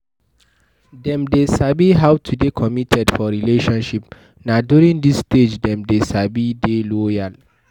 Dem dey sabi how to dey committed for relationship, na during this stage dem dey sabi dey loyal